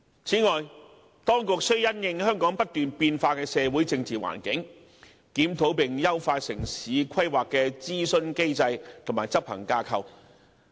此外，當局須因應香港不斷變化的社會政治環境，檢討並優化城市規劃諮詢機制及執行架構。